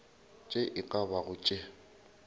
tše e ka bago tše